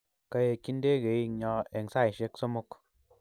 Kaekchi ndegeinyo eng saaishek sosom